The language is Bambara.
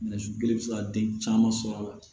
Nɛgɛsi kelen bɛ se ka den caman sɔrɔ a la